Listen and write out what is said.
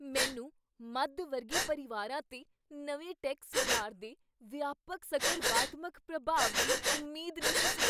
ਮੈਨੂੰ ਮੱਧ ਵਰਗੀ ਪਰਿਵਾਰਾਂ 'ਤੇ ਨਵੇਂ ਟੈਕਸ ਸੁਧਾਰ ਦੇ ਵਿਆਪਕ ਸਕਰਵਾਤਮਕ ਪ੍ਰਭਾਵ ਦੀ ਉਮੀਦ ਨਹੀਂ ਸੀ